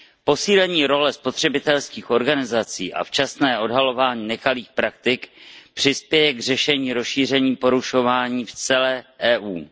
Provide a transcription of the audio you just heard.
Posílení role spotřebitelských organizací a včasné odhalování nekalých praktik přispěje k řešení rozšíření porušování v celé EU.